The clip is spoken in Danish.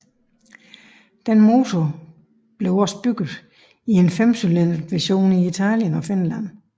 Denne motor blev også bygget i en femcylindret version til Italien og Finland